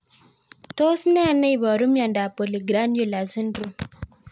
Tos nee neiparu miondop polyglandular syndrome